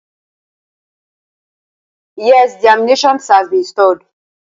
Êàê ìèíèìóì äâà ãîäà.